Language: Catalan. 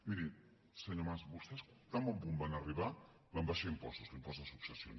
miri senyor mas vostès tan bon punt van arribar van abaixar impostos l’impost de successions